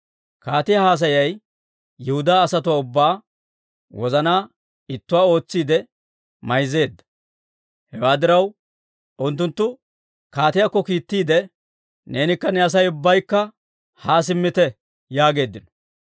Kaatiyaa haasayay Yihudaa asatuwaa ubbaa wozanaa ittuwaa ootsiide mayzzeedda. Hewaa diraw, unttunttu kaatiyaakko kiittiide, «Neenikka ne Asay ubbaykka haa simmite» yaageeddino.